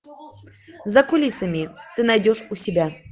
за кулисами ты найдешь у себя